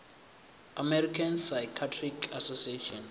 american psychiatric association